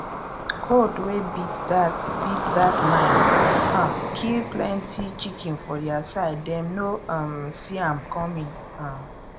cold wey beat that beat that night um kill plenty chicken for their side dem no um see am coming um